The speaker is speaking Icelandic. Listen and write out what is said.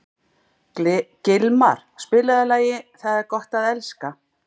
Gilmar, spilaðu lagið „Það er gott að elska“.